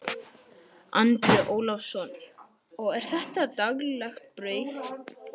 Andri Ólafsson: Og er þetta daglegt brauð?